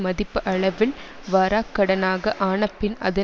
மதிப்பு அளவில் வராக் கடனாக ஆன பின் அதன்